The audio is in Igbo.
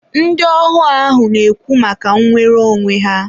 ndị ohu ahụ na-ekwu maka nwere onwe ha.